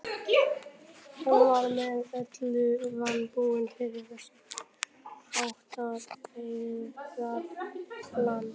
Hann var með öllu vanbúinn fyrir þess háttar feigðarflan.